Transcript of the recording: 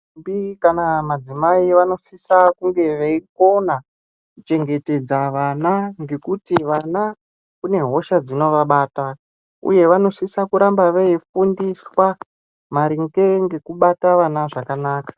Ndombi kana madzimai vanosisa kunge veikona kuchengetsedza vana ngekuti vana kune hosha dzinovabata, uye vanosisa kuramba veifundiswa maringe ngekubata vana zvakanaka.